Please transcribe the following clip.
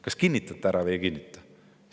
Kas kinnitate ära või ei kinnita?